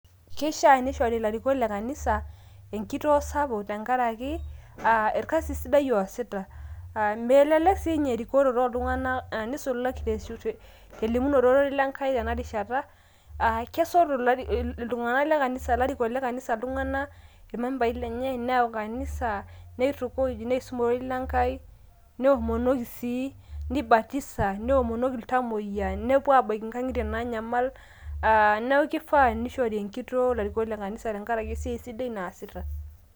Keishaa neishori ilarikok le kanisa enkitoo sapuk tenkaraki aa orkasi sidai ooasita aa melelek sininye erokorote oltunganak nisulaki elimunoto ororei lenkai tenarishata aa kesotu iltunganak lekanisa ilarikok lekanisa iltunganak, irmembai lenye kanisa neisum ororei lenkai neomonoki sii neibatisa, neomonoki iltamoyia, nepuo abaki nkangitie naanyamal aa neaku kifaa peincho larikok le kanisa tenkaraki esiai sidai naasita.